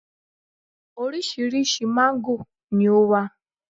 orísirísi mango ni o wa